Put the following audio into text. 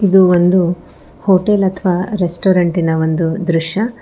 ಇದು ಒಂದು ಹೋಟೆಲ್ ಅಥವಾ ರೆಸ್ಟೋರೆಂಟಿ ನ ಒಂದು ದೃಶ್ಯ.